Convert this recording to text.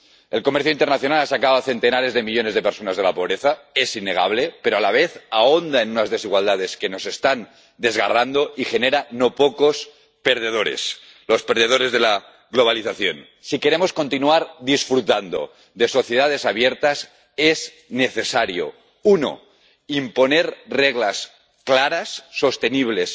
El comercio internacional ha sacado a centenares de millones de personas de la pobreza —es innegable— pero, a la vez, ahonda en unas desigualdades que nos están desgarrando y genera no pocos perdedores los perdedores de la globalización. Si queremos continuar disfrutando de sociedades abiertas, es necesario uno, imponer reglas claras, sostenibles